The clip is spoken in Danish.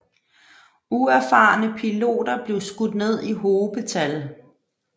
Uerfarne piloter blev skudt ned i hobetal